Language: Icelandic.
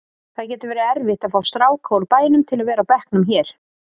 Það getur verið erfitt að fá stráka úr bænum til að vera á bekknum hér.